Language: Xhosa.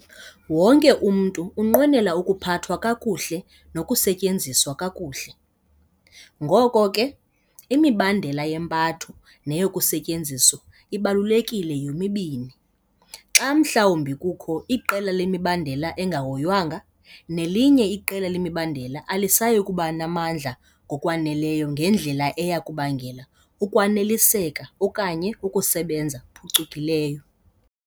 Wonke umntu unqwenela ukuphathwa kakuhle nokusetyenziswa kakuhle. Ngoko ke, imibandela yempatho neyokusetyenziswa ibalulekile yomibini. Xa mhlawumbi kukho iqela lemibandela engahoywanga, nelinye iqela lemibandela alisayi kuba namandla ngokwaneleyo ngendlela eya kubangela ukwaneliseka okanye ukusebenza phucukileyo.